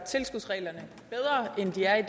til at